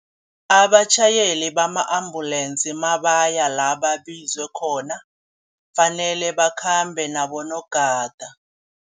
Abatjhayeli bama ambulensi mabaya la babizwe khona kufanele bakhambe nabonogada.